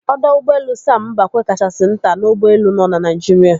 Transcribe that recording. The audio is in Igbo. Ọdọ Ụgbọelu Sam Mbakwe kachasi nta n'ụgbọelu nọ na Naijiri.